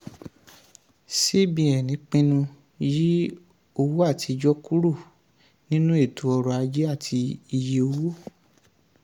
cbn pinnu yí owó àtijọ́ kúrò nínú eto ọrọ̀ ajé àti iye owó.